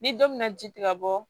Ni don mina ji ti ka bɔ